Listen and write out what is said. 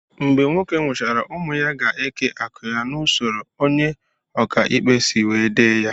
Mgbe nwoke nwuchara ụmụ ya gá eke akụ ya na usoro onye oka ikpe si wee dee ya